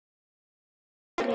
Hann fær aldrei frið.